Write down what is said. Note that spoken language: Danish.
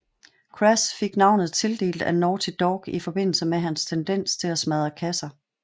Crash fik navnet tildelt af Naughty Dog i forbindelse med hans tendens til at smadre kasser